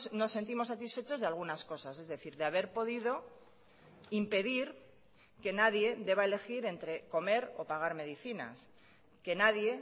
nos sentimos satisfechos de algunas cosas es decir de haber podido impedir que nadie deba elegir entre comer o pagar medicinas que nadie